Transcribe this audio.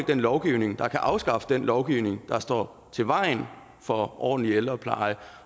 den lovgivning der kan afskaffe den lovgivning der står i vejen for ordentlig ældrepleje